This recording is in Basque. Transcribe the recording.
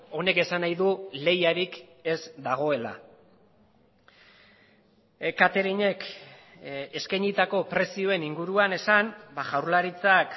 honek esan nahi du lehiarik ez dagoela cateringek eskainitako prezioen inguruan esan jaurlaritzak